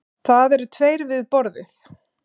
Það eru tveir við borðið.